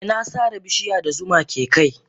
Eh na sare bishiya da zuma ke kai.